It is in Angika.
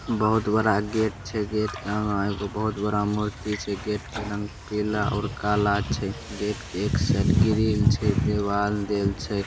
बहुत बड़ा गेट छै गेट के अगा एगो बहुत बड़ा मूर्ति छै गेट के रंग पीला और काला छै गेट के एक साइड ग्रील छै देवाल देल छै ।